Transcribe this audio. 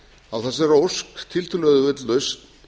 á þessari ósk tiltölulega auðveld lausn